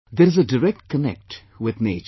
There is a direct connect with nature